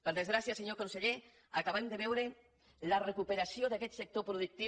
per desgràcia senyor conseller acabem de veure la recuperació d’aquest sector productiu